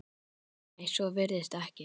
Nei, svo virðist ekki vera.